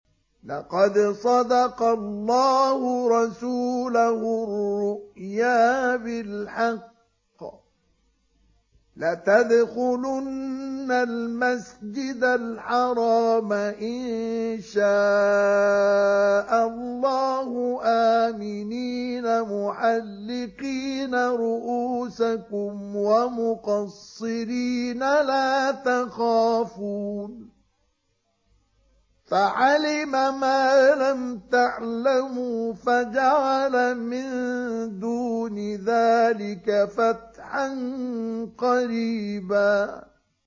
لَّقَدْ صَدَقَ اللَّهُ رَسُولَهُ الرُّؤْيَا بِالْحَقِّ ۖ لَتَدْخُلُنَّ الْمَسْجِدَ الْحَرَامَ إِن شَاءَ اللَّهُ آمِنِينَ مُحَلِّقِينَ رُءُوسَكُمْ وَمُقَصِّرِينَ لَا تَخَافُونَ ۖ فَعَلِمَ مَا لَمْ تَعْلَمُوا فَجَعَلَ مِن دُونِ ذَٰلِكَ فَتْحًا قَرِيبًا